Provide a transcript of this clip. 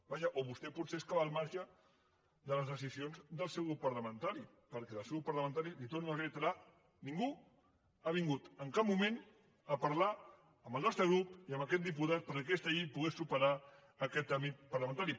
vaja o vostè potser és que va al marge de les decisions del seu grup parlamentari perquè del seu grup parlamentari li ho torno a reiterar ningú ha vingut en cap moment a parlar amb el nostre grup ni amb aquest diputat perquè aquesta llei pogués superar aquest tràmit parlamentari